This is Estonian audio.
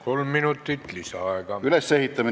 Kolm minutit lisaaega.